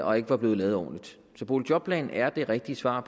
og ikke var blevet lavet ordentligt så boligjobplanen er det rigtige svar